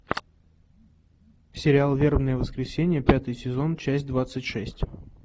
сериал вербное воскресенье пятый сезон часть двадцать шесть